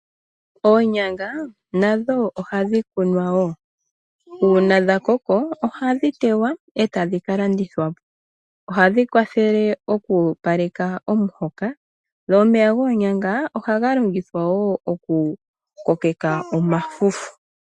Oonyanga nadho ohadhi kunwa woo uuna dha koko oha dhi tewa eta dhi kalandithwa po. Oha dhi kwathele oku opaleka omuhoka . Omeya goonyanga ohaga longithwa woo oku koka omafufu.